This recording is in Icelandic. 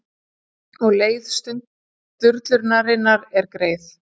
Og leið sturlunarinnar er greið.